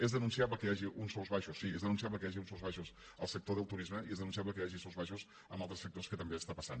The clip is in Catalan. és denunciable que hi hagi uns sous baixos sí és denunciable que hi hagi uns sous baixos al sector del turisme i és denunciable que hi hagi sous baixos en altres sectors que també està passant